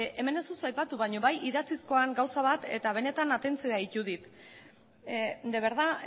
hemen ez duzu aipatu baina bai idatzizkoan gauza bat eta benetan atentzioa deitu dit de verdad